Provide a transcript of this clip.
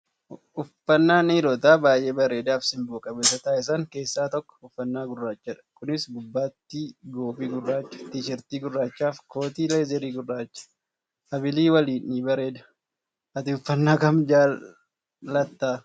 Uffannaan dhiirota baay'ee bareedaa fi simbo qabeessa taasisan keessaa tokko uffannaa gurraachadha. Kunis gubbaatti qoobii gurraacha , tiishartii gurraachaa fi kootii leezarii gurraacha habilii waliin ni bareeda. Ati uffannaa kam jaallattaa?